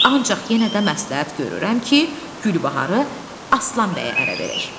Ancaq yenə də məsləhət görürəm ki, Gülbaharı Aslan bəyə ərə verək.